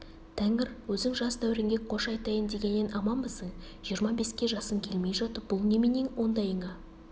тәңір өзің жас дәуренге қош айтайын дегеннен аманбысың жиырма беске жасың келмей жатып бұл неменең ондайыңа